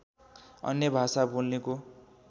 अन्य भाषा बोल्नेको